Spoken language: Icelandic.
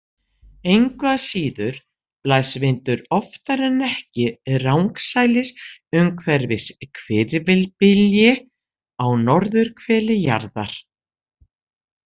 Engu að síður blæs vindur oftar en ekki rangsælis umhverfis hvirfilbylji á norðurhveli jarðar.